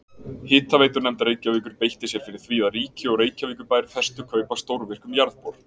Hitaveitunefnd Reykjavíkur beitti sér fyrir því að ríki og Reykjavíkurbær festu kaup á stórvirkum jarðbor.